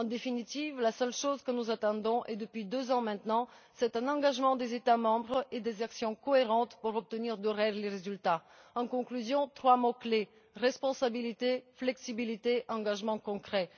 En définitive, la seule chose que nous attendons, et depuis deux ans maintenant, c'est un engagement des États membres et des mesures cohérentes pour obtenir de réels résultats. En conclusion, trois mots clés responsabilité, flexibilité, engagement concret.